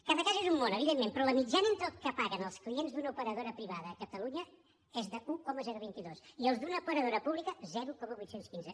cada cas és un món evidentment però la mitjana entre el que paguen els clients d’una operadora privada a catalunya és d’un coma vint dos i els d’una operadora pública zero coma vuit cents i quinze